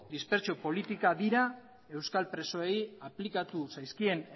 dispertsio politikak dira euskal presoei aplikatu zaizkien